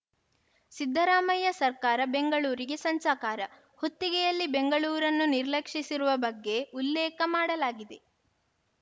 ಸಿದ್ದರಾಮಯ್ಯ ಸರ್ಕಾರ ಬೆಂಗಳೂರಿಗೆ ಸಂಚಕಾರ ಹೊತ್ತಿಗೆಯಲ್ಲಿ ಬೆಂಗಳೂರನ್ನು ನಿರ್ಲಕ್ಷಿಸಿರುವ ಬಗ್ಗೆ ಉಲ್ಲೇಖ ಮಾಡಲಾಗಿದೆ